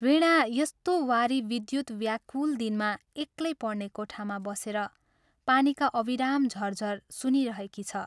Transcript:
वीणा यस्तो वारि विद्युत् व्याकुल दिनमा एक्लै पढ्ने कोठामा बसेर पानीका अविराम झरझर सुनिरहेकी छ।